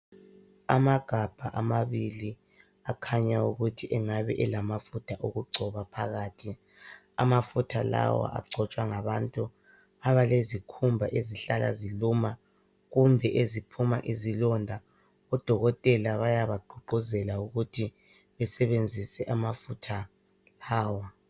Amagabha amabili akhanya ukuthi engabe elamafutha okugcoba phakathi. Amafutha lawa agcotshwa ngabantu abalezikhumba ezihlala ziluma kumbe eziphuma izilonda. Udokotela uyabagqugquzela ukuthi besebenzise amafutha lawa.